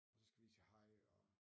Og så skal vi lige sige hej og